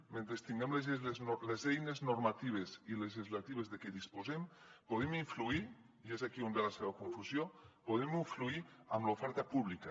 mentre tinguem les eines normatives i legislatives de què disposem podem influir i és aquí on ve la seva confusió en l’oferta pública